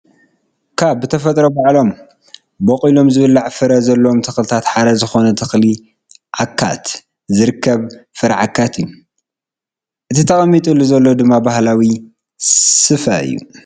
ካብ ብተፈጥሮ ባዕሎም ቦቂሎም ዝብላዕ ፍረ ዘለዎም ተኽልታት ሓደ ዝኾነ ተኽሊ ዓካት ዝርከብ ፍረ ዓካት እዩ፡፡ እቲ ተቀሚጥሉ ዘሎ ድማ ባህላዊ ስፈ እዩ፡፡